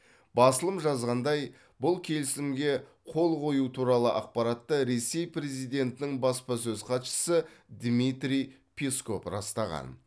басылым жазғандай бұл келісімге қол қою туралы ақпаратты ресей президентінің баспасөз хатшысы дмитрий песков растаған